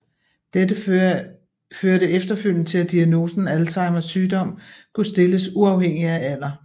Dette førte efterfølgende til at diagnosen Alzheimers sygdom kunne stilles uafhængigt af alder